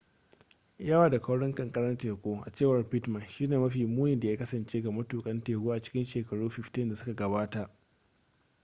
yawa da kaurin kankarar teku a cewar pittman shi ne mafi muni da ya kasance ga matukan teku a cikin shekaru 15 da suka gabata